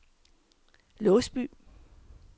Låsby